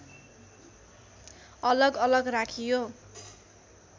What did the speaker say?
अलग अलग राखियो